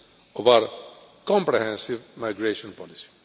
of our comprehensive migration policy.